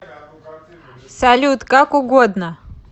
салют как угодно